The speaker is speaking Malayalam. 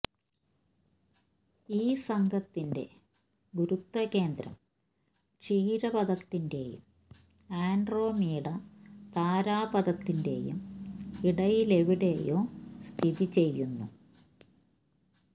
ഈ സംഘത്തിന്റെ ഗുരുത്വകേന്ദ്രം ക്ഷീരപഥത്തിന്റേയും ആൻഡ്രോമീഡ താരാപഥത്തിന്റെയും ഇടയിലെവിടെയോ സ്ഥിതി ചെയ്യുന്നു